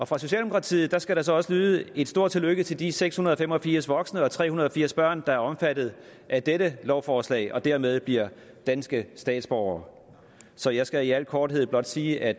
fra socialdemokratiet skal der også lyde et stort tillykke til de seks hundrede og fem og firs voksne og tre hundrede og firs børn der er omfattet af dette lovforslag og dermed bliver danske statsborgere så jeg skal i al korthed blot sige at